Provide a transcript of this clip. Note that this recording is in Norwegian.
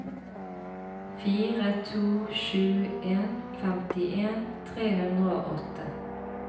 fire to sju en femtien tre hundre og åtte